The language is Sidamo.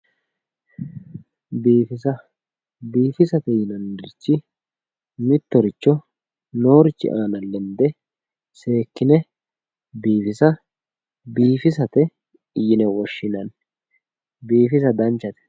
biifisa biifisate yinannirichi mittoricho noorichi aana lende seekkine biifisa biifisate yine woshshinanni biifisa danchate.